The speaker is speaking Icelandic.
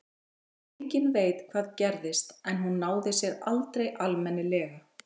Enginn veit hvað gerðist en hún náði sér aldrei almennilega.